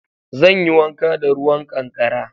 Zan yi wanka da ruwan ƙankara